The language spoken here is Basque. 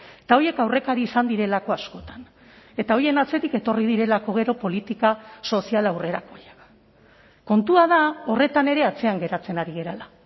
eta horiek aurrekari izan direlako askotan eta horien atzetik etorri direlako gero politika sozial aurrerakoiak kontua da horretan ere atzean geratzen ari garela